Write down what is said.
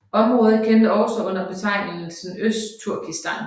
Området kendes også under betegnelsen Østturkistan